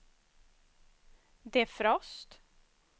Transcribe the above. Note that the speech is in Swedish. defrost